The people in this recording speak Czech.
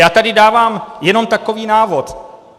Já tady dávám jenom takový návod.